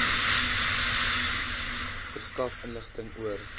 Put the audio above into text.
verskaf inligting oor